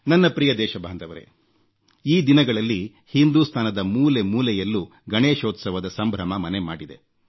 ನನ್ನ ಪ್ರಿಯ ದೇಶಬಾಂಧವರೇ ಈ ದಿನಗಳಲ್ಲಿ ಹಿಂದೂಸ್ತಾನದ ಮೂಲೆಮೂಲೆಯಲ್ಲೂ ಗಣೇಶೋತ್ಸವದ ಸಂಭ್ರಮ ಮನೆ ಮಾಡಿದೆ